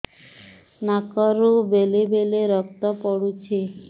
ନାକରୁ ବେଳେ ବେଳେ ରକ୍ତ ପଡୁଛି